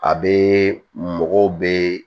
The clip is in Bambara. A bee mɔgɔw bee